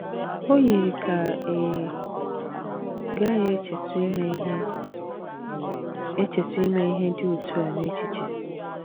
O yiri ka ị gaghị echetụ ime ihe echetụ ime ihe dị otú a n’echiche!